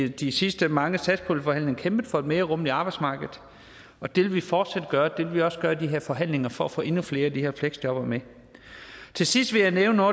i de sidste mange satspuljeforhandlinger kæmpet for et mere rummeligt arbejdsmarked og det vil vi fortsat gøre og det vil vi også gøre i de her forhandlinger for at få endnu flere af de her fleksjobbere med til sidst vil jeg nævne